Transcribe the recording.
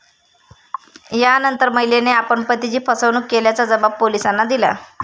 यानंतर, महिलेने आपण पतीची फसवणूक केल्याचा जबाब पोलिसांना दिला.